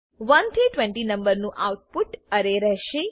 1 થી 20 નંબર નું આઉટપુટ અરે રહેશે